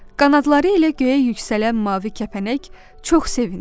Qanadları elə göyə yüksələn mavi kəpənək çox sevindi.